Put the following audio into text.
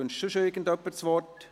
Wünscht sonst jemand das Wort?